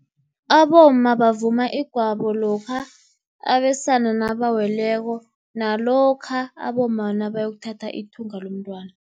Abomma bavuma igwabo, lokha abesana nabaweleko, nalokha abomma nabayokuthatha ithunga lomntwana.